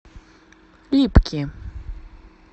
липки